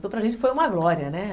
Então para gente foi uma glória, né?